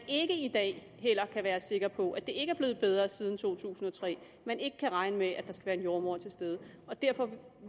ikke i dag kan være sikker på det at det ikke er blevet bedre siden to tusind og tre at man ikke kan regne med at der skal være en jordemoder til stede derfor vil